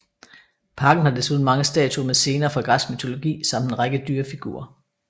Parken har desuden mange statuer med scener fra græsk mytologi samt en række dyrefigurer